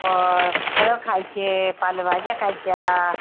अ फळं खायचे पालेभाज्या खायच्या